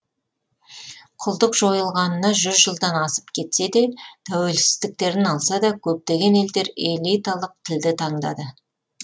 құлдық жойылғанына жүз жылдан асып кетсе де тәуелсіздіктерін алса да көптеген елдер элиталық тілді таңдады